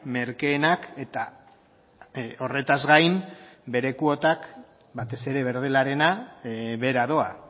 merkeenak eta horretaz gain bere kuotak batez ere berdelarena behera doa